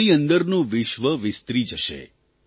તમારી અંદરનું વિશ્વ વિસ્તરી જશે